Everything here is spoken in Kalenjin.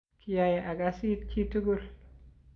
kiyai akas it chitugul